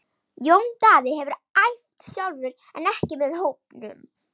Jón Daði hefur æft sjálfur en ekki með hópnum.